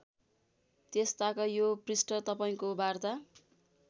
त्यसताक यो पृष्ठ तपाईँको वार्ता